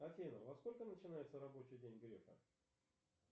афина во сколько начинается рабочий день грефа